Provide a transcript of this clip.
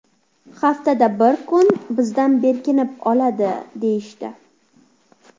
Haftada bir kun bizdan berkinib oladi, – deyishdi.